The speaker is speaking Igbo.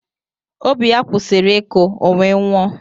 Obi ya kwụsịrị ịkụ ọ wee nwụọ